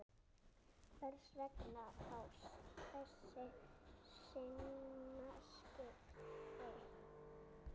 Hvers vegna þá þessi sinnaskipti?